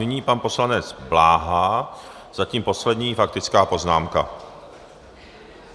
Nyní pan poslanec Bláha, zatím poslední faktická poznámka.